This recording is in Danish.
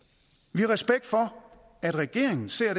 vi har respekt for at regeringen ser